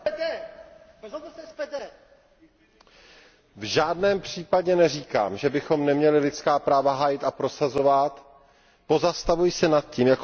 Pane předsedající, v žádném případě neříkám, že bychom neměli lidská práva hájit a prosazovat, pozastavuji se nad tím.